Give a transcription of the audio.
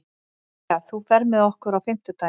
Thea, ferð þú með okkur á fimmtudaginn?